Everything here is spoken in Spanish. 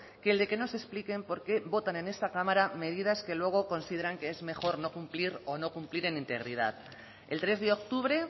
que el de que nos expliquen por qué votan en esta cámara medidas que luego consideran que es mejor no cumplir o no cumplir en integridad el tres de octubre